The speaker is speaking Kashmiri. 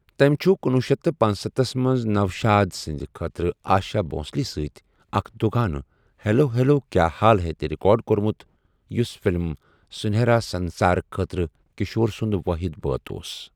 تٔمہِ چُھ کُنۄہ شیتھ پنسَتھس منٛز نوشاد سٕنٛدِ خٲطرٕ آشا بھوسلے سۭتۍ اکھ دُ گانہٕ 'ہٮ۪لو ہٮ۪لو کیٛا ہال ہے' تہِ رِکارڈ کوٚرمُت یُس فِلِم سُنیٚہرا سنٛسار خٲطرٕ کِشور سُنٛد وٲحِد بٲتھ اوس۔